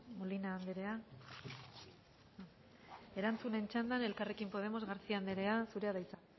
molina anderea erantzunen txandan elkarrekin podemos garcía anderea zurea da hitza